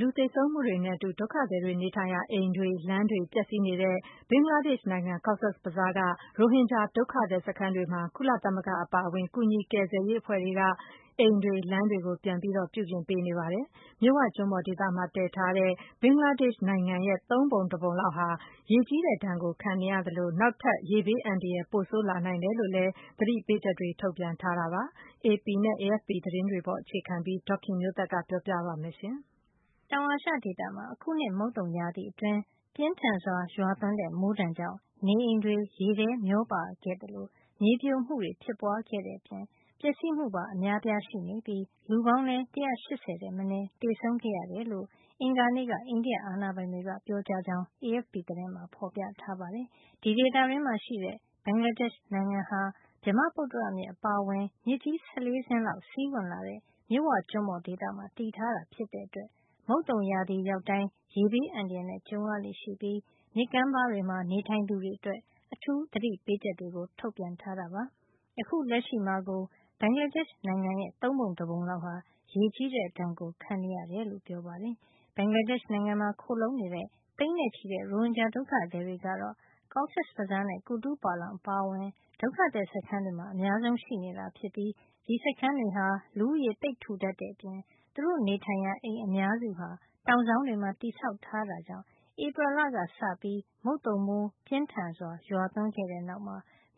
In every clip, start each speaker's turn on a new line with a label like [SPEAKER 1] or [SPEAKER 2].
[SPEAKER 1] လူသေဆုံးမှုတွေနဲ့အတူ ဒုက္ခသည်တွေ နေထိုင်ရာအိမ်တွေ လမ်းတွေပျက်စီးနေတဲ့ ဘင်္ဂလားဒေ့ရှ် နိုင်ငံ Cox's Bazar က ရိုဟင်ဂျာ ဒုက္ခသည် စခန်းတွေမှာ ကုလသမဂ္ဂအပါအဝင် ကယ်ဆယ်ကူညီရေး အဖွဲ့တွေက အိမ်တွေ လမ်းတွေ ပြန်ပြီး ပြုပြင်ပေး နေပါတယ်။ မြစ်ဝကျွန်းပေါ်ဒေသမှာ တည်ထားတဲ့ ဘင်္ဂလားဒေ့ရှ် နိုင်ငံရဲ့ သုံးပုံတပုံလောက်ဟာ ရေကြီးတဲ့ ဒဏ်ကိုခံနေရသလို နောက်ထပ် ရေဘေးအန္တရာယ် ပိုဆိုးလာနိုင်တယ်လို့လည်း သတိပေးချက်တွေ ထုတ်ပြန်ထားတာပါ။ AP နဲ့ AFP သတင်းတွေပေါ် အခြေခံပြီး ဒေါ်ခင်မျိုးသက်က ပြောပြပေးမှာပါ။
[SPEAKER 2] တောင်အာရှဒေသမှာ အခုနှစ် မုတ်သုံရာသီအတွင်း ပြင်းထန်စွာရွာသွန်းတဲ့ မိုးဒဏ်ကြောင့် နေအိမ်တွေ ရေထဲမျောပါခဲ့သလို မြေပြိုမှုတွေ ဖြစ်ပွါးခဲ့အပြင် ပျက်စီးမှု အများအပြားရှိနေပြီး လူပေါင်း ၁၈၀ ထက်မနဲ သေဆုံးခဲ့ရတယ်လို့ အင်္ဂါနေ့က အိန္ဒိယအာဏာပိုင်တွေက ပြောကြားကြောင်း AFP သတင်းမှာ ဖေါ်ပြထားပါတယ်။ ဒီဒေသတွင်းမှာရှိတဲ့ ဘင်္ဂလားဒေ့ရှ် နိုင်ငံဟာ ဗြဟ္မပုတ္တရမြစ် အပါအဝင် မြစ်ကြီး ၁၄ စင်းလောက် စီးဝင်လာတဲ့ မြစ်ဝကျွန်းပေါ်ဒေသမှာ တည်ထားတာ ဖြစ်တဲ့အတွက် မုတ်သုန်ရာသီရောက်တိုင်း ရေဘေးအန္တရာယ်နဲ့ ကြုံရလေ့ရှိပြီး မြစ်ကမ်းပါးတွေမှာ နေထိုင်သူတွေအတွက် အထူးသတိပေးချက်တွေ ထုတ်ပြန်ထားတာပါ။ အခုလက်ရှိမှာကိုပဲ ဘင်္ဂလားဒေ့ရှ် နိုင်ငံရဲ့ သုံးပုံတပုံလောက်ဟာ ရေကြီးတဲ့ ဒဏ်ကိုခံနေရ တယ်လို့လည်း ပြောပါတယ်။ ဘင်္ဂလားဒေ့ရှ်နိုင်ငံမှာ ခိုလှုံနေတဲ့ သိန်းနဲ့ချီတဲ့ ရိုဟင်ဂျာဒုက္ခသည်တွေ ကတော့ Cox's Bazar နဲ့ ကူတူးပါလောင်အပါအဝင် ဒုက္ခသည် စခန်းတွေမှာ အများဆုံး ရှိနေတာဖြစ်ပြီး ဒီစခန်းတွေဟာ လူဦးရေ သိပ်ထူထပ်တဲ့အပြင် သူတို့ နေထိုင်ရာ အိမ်အများစုဟာ တောင်စောင်းတွေမှာ တည်ဆောက်ထားတာ ကြောင့် ဧပြီလကစပြီး မုတ်သုန်မိုးပြင်းထန်စွာ ရွာသွန်းခဲ့တဲ့နောက်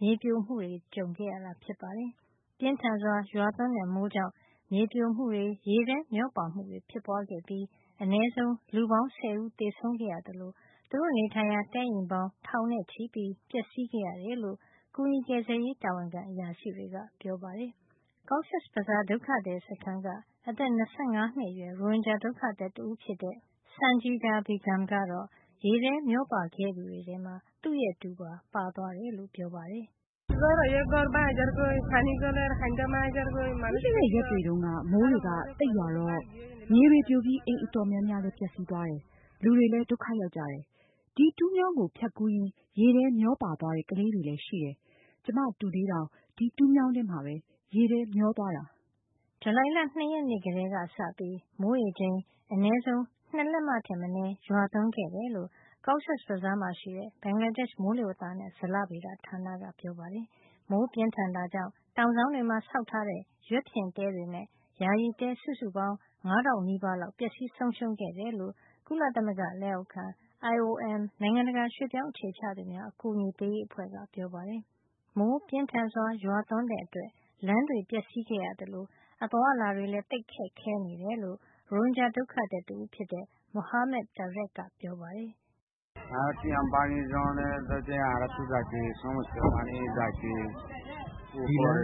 [SPEAKER 2] မြေပြိုမှုတွေကို ကြုံတွေ့ခဲ့ကြရတာ ဖြစ်ပါတယ်။ ပြင်းထန်စွာရွာသွန်းတဲ့ မိုးကြောင့် မြေပြိုမှုတွေ ရေထဲမျောပါမှုတွေဖြစ်ပွါးခဲ့ပြီး အနည်းဆုံး လူပေါင်း ၁၀ ဦးသေဆုံးခဲ့ရသလို သူတို့နေထိုင်ရာ တဲအိမ်ပေါင်း ထောင်နဲ့ချီ ပျက်စီးခဲ့ရတယ်လို့ ကူညီကယ်ဆယ်ရေး တာဝန်ခံ အရာရှိတွေက ပြောပါတယ်။ Cox’s Bazar ဒုက္ခသည်စခန်းက အသက် ၂၅ နှစ်အရွယ် ရိုဟင်ဂျာ ဒုက္ခသည်တဦးဖြစ်တဲ့ Sanjida Begumကတော့ ရေထဲမျောပါခဲ့ကြသူတွေထဲမှာ သူ့ရဲ့တူပါ ပါတယ်လို့ ပြောပါတယ်။ "ပြီးခဲ့တဲ့ ရက်တ
[SPEAKER 1] ွေ တုန်းက မိုးတွေက သိပ်ရွာတော့ မြေတွေပြိုပြီး အိမ်အတော်များများလည်း ပျက်စီးသွားတယ်။ လူတွေလည်း ဒုက္ခရောက်ကြတယ်။ ဒီတူးမြောင်းကို ဖြတ်ကူးရင်း ရေထဲမျောပါသွားတဲ့ ကလေးတွေလည်း ရှိတယ်။ ကျမ တူလေးတောင် ဒီတူးမြောင်းထဲမှာ ရေထဲ
[SPEAKER 2] မျောသွားတာ။” ဇူလိုင်လ ၂ ရက်နေ့ကတည်းကစပြီး မိုးရေချိန် အနည်းဆုံး နှစ်လက်မထက်မနည်း ရွာသွန်းခဲ့တယ်လို့ Cox’s Bazar မှာရှိတဲ့ ဘင်္ဂလားဒေ့ရှ် မိုးလေဝသနဲ့ ဇလဗေဒဌာနက ပြောပါတယ်။ မိုးပြင်းထန်တာကြောင့် တောင်စောင်းတွေမှာ ဆောက်ထားကြတဲ့ ရွက်ဖျင်တဲတွေနဲ့ ယာယီတဲ စုစုပေါင်း ၅ ထောင်နီးပါးလောက် ပျက်စီးဆုံးရှုံးခဲ့တယ်လို့ ကုလသမဂ္ဂလက်အောက်ခံ IOM နိုင်ငံတကာရွှေ့ပြောင်းအခြေချသူများ အကူအညီပေးရေး အဖွဲ့ကပြောပါတယ်။ မိုးပြင်းထန်စွာ ရွာသွန်းတဲ့အတွက် လမ်းတွေ ပျက်စီးခဲ့ရသလို အသွားအလာတွေ လည်း သိပ်ခက်ခဲနေတယ်လို့ ရိုဟင်ဂျာ ဒုက္ခသည် တဦးဖြစ်တဲ့ Muhammad Tarek က ပြောပါတယ်။
[SPEAKER 1] "ဒီလမ်းပ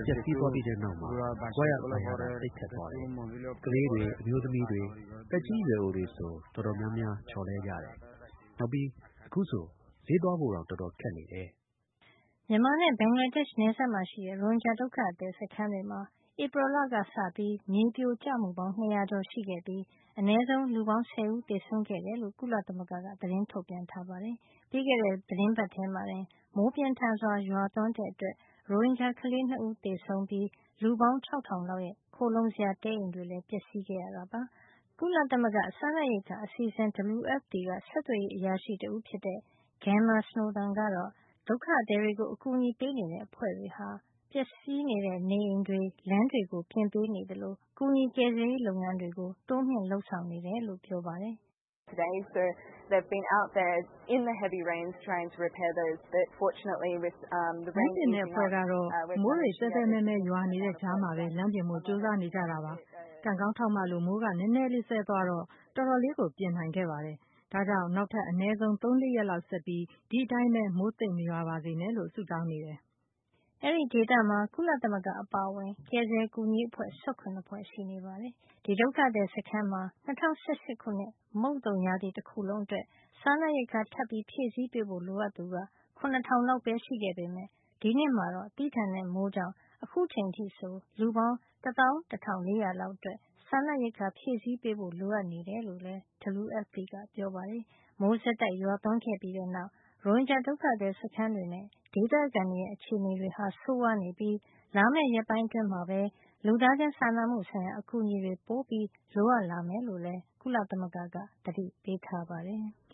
[SPEAKER 2] ျက်စီးသွား ပြီးတဲ့နောက်မှာ သွားရလာရတာ သိပ်ခက်သွားတယ်။ ကလေးတွေ၊ အမျိုးသမီးတွေ၊ သက်ကြီးရွယ်အိုတွေဆို တော်တော်များများ ချော်လဲ ကြတယ်။ နောက်ပြီး အခုဆို ဈေးသွားဖို့တောင် တော်တော် ခက်နေတယ်။” မြန်မာနဲ့ ဘင်္ဂလားဒေ့ရှ်နယ်စပ်မှာရှိနေတဲ့ ရိုဟင်ဂျာဒုက္ခသည်စခန်းတွေမှာ ဧပြီလကစပြီး မြေပြိုကျမှုပေါင်း ၂၀၀ ကျော်ရှိခဲ့ပြီး အနည်းဆုံး လူ ၁၀ ဦး သေဆုံးခဲ့တယ်လို့ ကုလသမဂ္ဂက သတင်းထုတ်ပြန်ထားပါတယ်။ ပြီးခဲ့တဲ့ သီတင်းပတ်ထဲမှာတင် မိုးပြင်းထန်စွာ ရွာသွန်းမှုကြောင့် ရိုဟင်ဂျာ ကလေးနှစ်ဦးသေဆုံးပြီး လူပေါင်း ၆,၀၀၀ လောက်ရဲ့ ခိုလှုံစရာ တဲအိမ်တွေလည်း ပျက်စီးခဲ့ပါတယ်။ ကုလသမဂ္ဂ စားနပ်ရိက္ခာ အစီအစဉ် WFP က ဆက်သွယ်ရေးအရာရှိ တဦးဖြစ်တဲ့ Gemma Snowdon ကတော့ ဒုက္ခသည်တွေကို အကူညီပေးနေတဲ့ အဖွဲ့တွေဟာ ပျက်စီးတဲ့ နေအိမ်တွေ လမ်းတွေကို ပြင်ပေးသလို ကယ်ဆယ်ကူညီရေးလုပ်ငန်းတွေကို တိုးမြှင့် လုပ်ဆောင်နေတယ်လို့ ပြောပါတယ်။
[SPEAKER 1] "လမ်းပြင်တဲ့ အဖွဲ့ကတော့ သဲသဲမဲမဲ ရွာနေတဲ့ မိုးထဲမှာပဲ လမ်းပြင်ဖို့ ကြိုးစားနေကြတယ်။ ကံကောင်းထောက်မလို့ မိုးကနဲနဲ စဲသွားတော့ တော်တော်လေး ပြင်နိုင်ခဲ့တယ်။ ဒါကြောင့် နောက်ထပ် အနဲဆုံး ၃- ၄ ရက်လောက် ဆက်ပြီး ဒီအတိုင်းပဲ မိုးသိပ်မရွာပါစေနဲ့လို့ ဆုတောင်းနေတယ်”
[SPEAKER 2] အဲဒီဒေသမှာ ကုလသမဂ္ဂ အပါအဝင် ကယ်ဆယ်ကူညီရေးအဖွဲ့ ၁၇ ဖွဲ့ရှိနေတာပါ။ ဒီ ဒုက္ခသည်စခန်းမှာ ၂၀၁၈ ခုနှစ် မုတ်သုံရာသီတခုလုံး အတွက် စားနပ်ရိက္ခာထပ်ဖြည့်ပေးဖို့ လိုအပ်သူက ၇ ထောင်လောက် ပဲ ရှိခဲ့ပေမယ့် ဒီနှစ်မှာတော့ သည်းထန်တဲ့ မိုးကြောင့် အခုအချိန်အထိ ဆို လူပေါင်း ၁၁၄၀၀ လောက်အတွက် စားနပ်ရိက္ခာ ဖြည့်ဆည်းပေးဖို့ လိုအပ်နေတယ်လို့လည်း WFP က ပြောပါတယ်။ မိုးဆက်တိုက် ရွာသွန်းခဲ့ပြီးနောက် ရိုဟင်ဂျာ ဒုက္ခသည် စခန်းတွေနဲ့ ဒေသခံတွေရဲ့ အခြေအနေတွေ ဆိုးရွားနေပြီး လာမယ့် ရက်ပိုင်း အတွင်းမှာဘဲ လူသားချင်းစာနာမှုဆိုင်ရာ အကူအညီတွေ ပိုပြီး လိုအပ်လာမယ်လို့လည်း ကုလသမဂ္ဂက သတိပေးထားပါတယ်။